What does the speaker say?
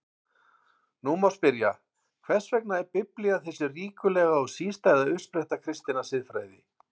Nú má spyrja: Hvers vegna er Biblían þessi ríkulega og sístæða uppspretta kristinnar siðfræði?